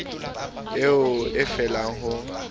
eo o e lefang ho